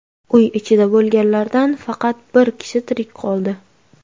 Uy ichida bo‘lganlardan faqat bir kishi tirik qoldi.